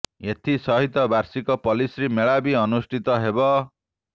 ଏଥି ସହିତ ବାର୍ଷିକ ପଲ୍ଲିଶ୍ରୀ ମେଳା ବି ଅନୁଷ୍ଠିତ ହେବ